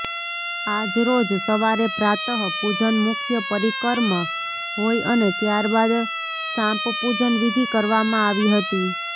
આજરોજ સવારે પ્રાતઃ પૂજન મુખ્ય પરીકર્મ હોય અને ત્યારબાદ સાપંપૂજન વિધી કરવામાં આવી હતી